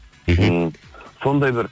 мхм сондай бір